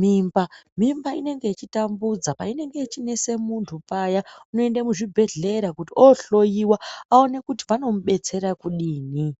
mimba. Mimba inenge yechitambudza, painenge ichinesa muntu payaa unoenda muzvibhendlera kuti oohloiwa aone kuti vanomubetsera kudini.